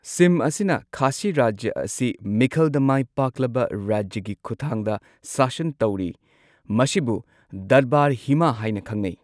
ꯁꯤꯝ ꯑꯁꯤꯅ ꯈꯥꯁꯤ ꯔꯥꯖ꯭ꯌ ꯑꯁꯤ ꯃꯤꯈꯜꯗ ꯃꯥꯏ ꯄꯥꯛꯂꯕ ꯔꯥꯖ꯭ꯌꯒꯤ ꯈꯨꯠꯊꯥꯡꯗ ꯁꯥꯁꯟ ꯇꯧꯔꯤ, ꯃꯁꯤꯕꯨ ꯗꯔꯕꯥꯔ ꯍꯤꯃ ꯍꯥꯏꯅ ꯈꯪꯅꯩ꯫